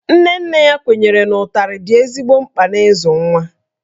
Nne nne ya kwenyere na ụtarị dị ezigbo mkpa n'ịzụ nwa